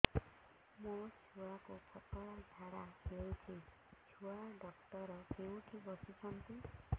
ମୋ ଛୁଆକୁ ପତଳା ଝାଡ଼ା ହେଉଛି ଛୁଆ ଡକ୍ଟର କେଉଁଠି ବସୁଛନ୍ତି